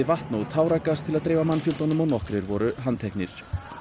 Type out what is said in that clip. vatn og táragas til að dreifa mannfjöldanum nokkrir voru handteknir